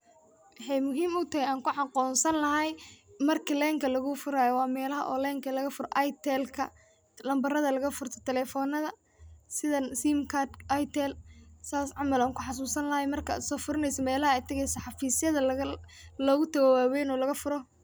Wexey utahay oo an kuaqonsani lahay marki lenka lugufurayo oo wa melaha lenka lagafuro oo itelka ah. Nambarada lagafurto telefonada sida simkarka itel sidas camal ayan kusoxasusani marka ad tageyso melaha camal xafisyada camal xarunta waween ee lagafuro.